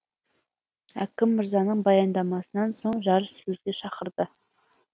әкім мырзаның баяндамасынан соң жарыссөзге шақырды